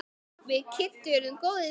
Við Kiddi urðum góðir vinir.